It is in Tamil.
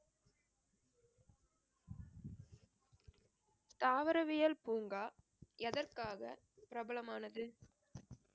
தாவரவியல் பூங்கா எதற்காக பிரபலமானது